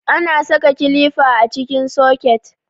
Ana saka kilifa a cikin soket.